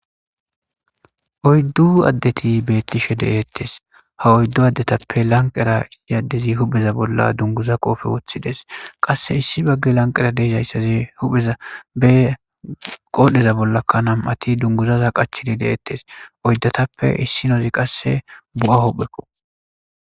Oyddu addeti bettishe de'etes ha oyddu adetappe issoy huphe bolla dungguza qofe wothides.qase issi lanqera dizayssi nam'atikka qodhe bolla dungguza foxxa mayida issinozi qase bo'a huphekko.